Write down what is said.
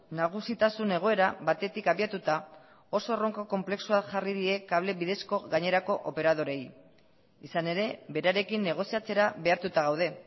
nagusitasun egoera batetik abiatuta oso erronka konplexuak jarri die kable bidezko gainerako operadoreei izan ere berarekin negoziatzera behartuta gaude